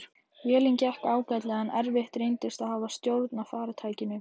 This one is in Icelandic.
Vélin gekk ágætlega en erfitt reyndist að hafa stjórn á farartækinu.